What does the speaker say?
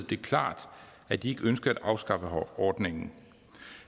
det klart at de ikke ønskede at afskaffe ordningen